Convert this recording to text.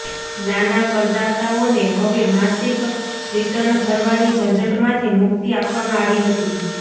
નાના કરદાતાઓને હવે માસિક રિટર્ન ભરવાની ઝંઝટમાંથી મુક્તિ આપવામાં આવી હતી